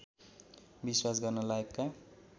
विश्वास गर्न लायकका